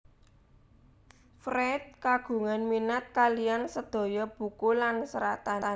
Fried kagungan minat kaliyan sedaya buku lan seratan